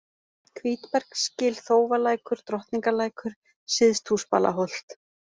Hvítbergsgil, Þófalækur, Drottningarlækur, Syðsthúsbalaholt